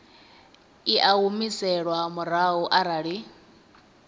i a humiselwa murahu arali